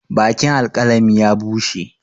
Bakin alkalami ya bushe.